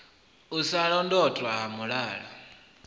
u sa londotwa ha mulala